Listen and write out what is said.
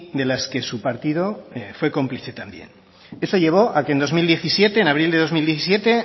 de las que su partido fue cómplice también eso llevo a que en dos mil diecisiete en abril de dos mil diecisiete